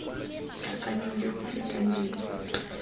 tlhakaneng jo bo fetang boima